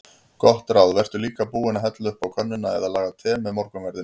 Gott ráð: Vertu líka búinn að hella upp á könnuna eða laga te með morgunverðinum.